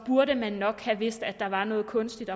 burde nok have vidst at der var noget kunstigt